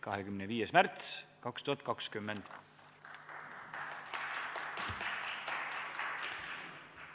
" 25. märts 2020.